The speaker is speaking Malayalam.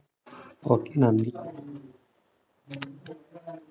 okay നന്ദി